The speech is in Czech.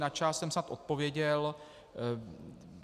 Na část jsem snad odpověděl.